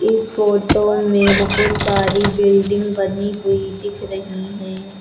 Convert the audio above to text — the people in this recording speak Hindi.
इस फोटो में बहुत सारी बिल्डिंग बनी हुई दिख रही हैं।